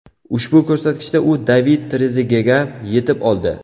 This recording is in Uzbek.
Ushbu ko‘rsatkichda u David Trezegega yetib oldi.